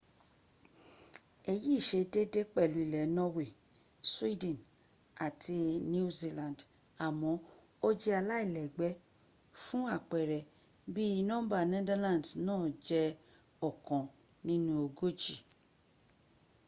èyí sẹ déédéé pẹ̀lú ilẹ̀ norway sweden àti new zealand àmó ó jẹ́ alílẹ́gbé fún àpẹẹrẹ bí nọ́mbà netherlands nàa jé ọkan sí ọgójì